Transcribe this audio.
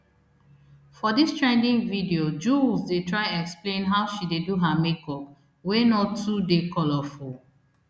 for dis trending video jools dey try explain how she dey do her makeup wey no too dey colourful